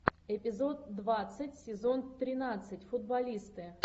эпизод двадцать сезон тринадцать футболисты